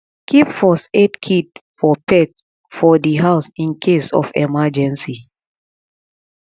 keep first aid kit for pet for di house in case of emergency